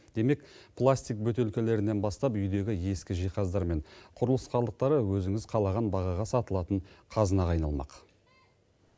демек пластик бөтелкелерінен бастап үйдегі ескі жиһаздар мен құрылыс қалдықтары өзіңіз қалаған бағаға сатылатын қазынаға айналмақ